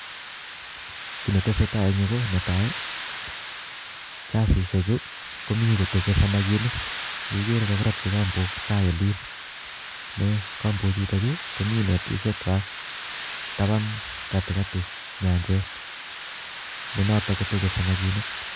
kii netesatai eng yuu ,netaai chasishek chuu komii ktachee samaginik eigere ko aratchi kambok tai olin eng kambok chuu komii netishek kwak taban katikati nyanjet ne notok tejee samakinik